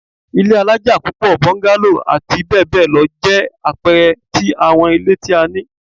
Ilé alaja pupo, bungalow ati bẹbẹ lọ jẹ apẹẹrẹ ti awọn ile ti a ni